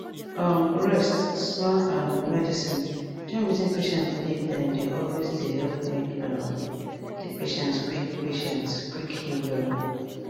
um rest small um medicine join wetin patient believe dem dey always dey help make um di patient quick patient quick heal wella